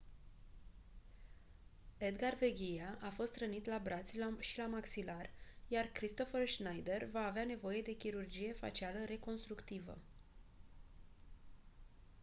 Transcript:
edgar veguilla a fost rănit la braț și la maxilar iar kristoffer schneider va avea nevoie de chirurgie facială reconstructivă